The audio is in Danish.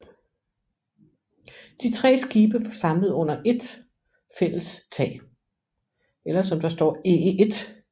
De tre skibe var samlet under éet fælles tag